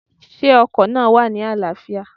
Sé ọkò náà wà ní àláâfíà?